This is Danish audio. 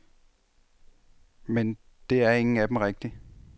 Men det er ingen af dem rigtig.